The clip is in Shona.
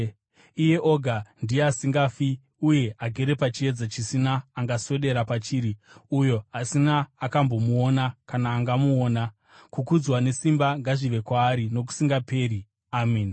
Iye oga ndiye asingafi uye agere pachiedza chisina angaswedera pachiri, uyo asina akambomuona kana angamuona. Kukudzwa nesimba ngazvive kwaari nokusingaperi. Ameni.